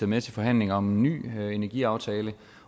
med til forhandlinger om en ny energiaftale